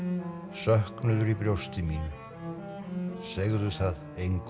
söknuður í brjósti mínu segðu það engum